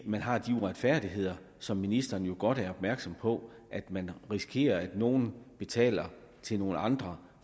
man har de uretfærdigheder som ministeren jo godt er opmærksom på at man risikerer at nogen betaler til nogle andre